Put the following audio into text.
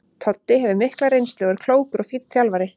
Toddi hefur mikla reynslu og er klókur og fínn þjálfari.